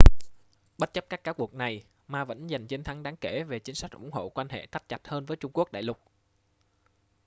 bất chấp các cáo buộc này ma vẫn dành chiến thắng đáng kể về chính sách ủng hộ quan hệ thắt chặt hơn với trung quốc đại lục